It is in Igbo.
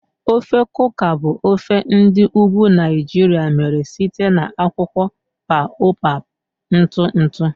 Ofe Kuka bụ ofe ndi ugwu Naijiria mere site na akwụkwọ baobab ntụ ntụ.